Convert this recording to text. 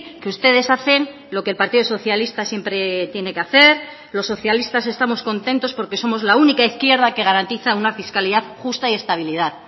que ustedes hacen lo que el partido socialista siempre tiene que hacer los socialistas estamos contentos porque somos la única izquierda que garantiza una fiscalidad justa y estabilidad